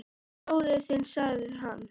Bróðir þinn sagði hann.